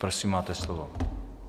Prosím, máte slovo.